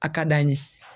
A ka d'an ye